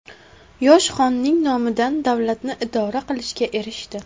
Yosh xonning nomidan davlatni idora qilishga erishdi.